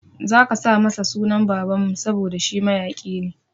Zaka sa masa sunan baban mu saboda shi mayaƙi ne